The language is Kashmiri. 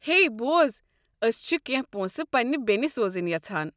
ہیے بوز، ٲسۍ چھ کٮ۪نٛہہ پونٛسہٕ پنٛنہ بیٚنہ سوزٕنۍ یژھان ۔